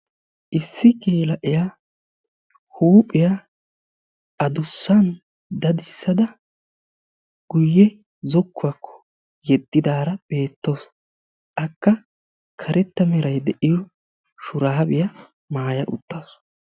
Issi geela'iya huuphiya adussan dadissada guyye zokkuwakko yeddidaara beettawusu, akka karetta meray de'iyo shuraabiya maaya uttaasu.